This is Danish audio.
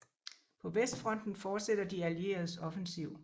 På vestfronten fortsætter de allieredes offensiv